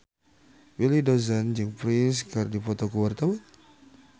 Willy Dozan jeung Prince keur dipoto ku wartawan